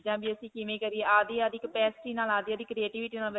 ਚੀਜਾਂ ਵੀ ਅਸੀਂ ਕਿਵੇਂ ਕਰੀਏ ਆਪਦੀ-ਆਪਦੀ capacity ਨਾਲ, ਆਪਦੀ-ਆਪਦੀ creativity ਨਾਲ.